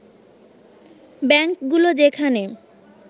ব্যাংকগুলো যেখানে